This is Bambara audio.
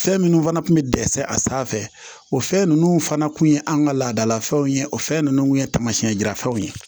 Fɛn minnu fana tun bɛ dɛsɛ a sanfɛ o fɛn ninnu fana tun ye an ka laadalafɛnw ye o fɛn ninnu tun ye taamasiyɛn jira fɛnw ye